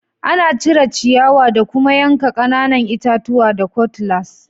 Ana cire ciyawa da kuma yanka ƙananan itatuwa da kutlas.